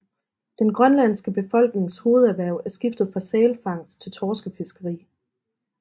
Den grønlandske befolknings hovederhverv er skiftet fra sælfangst til torskefiskeri